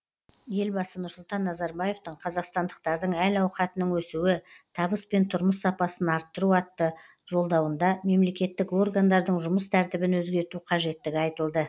елбасы нұрсұлтан назарбаевтың қазақстандықтардың әл ауқатының өсуі табыс пен тұрмыс сапасын арттыру атты жолдауында мемлекеттік органдардың жұмыс тәртібін өзгерту қажеттігі айтылды